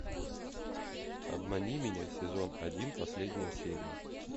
обмани меня сезон один последняя серия